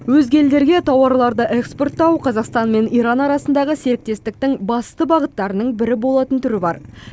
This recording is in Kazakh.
өзге елдерге тауарларды экспорттау қазақстан мен иран арасындағы серіктестіктің басты бағыттарының бірі болатын түрі бар